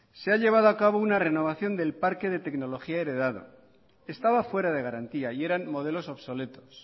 se ha llevado a cabo una renovación del parque de tecnología heredado estaba fuera de garantía y eran modelos obsoletos